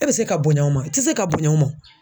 E bɛ se ka bonya o ma, i tɛ se ka bonya o ma.